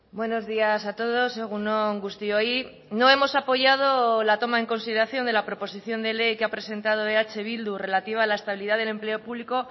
buenos días a todos egun on guztioi no hemos apoyado la toma en consideración de la proposición de ley que ha presentado eh bildu relativa a la estabilidad del empleo público